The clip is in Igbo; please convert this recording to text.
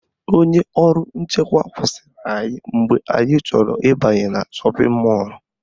Onye ọrụ nchekwa kwụsịrị anyị mgbe anyị chọrọ ịbanye na shọpịn mọlụ